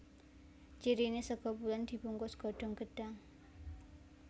Cirine sega pulen dibungkus godhong gedhang